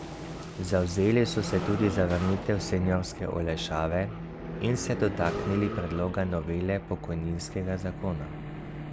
Zavzeli so se tudi za vrnitev seniorske olajšave in se dotaknili predloga novele pokojninskega zakona.